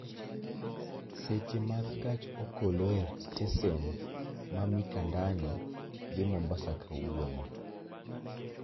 Seche mag gach okoloe stesen ma Mikandani dhi mombasa kawuono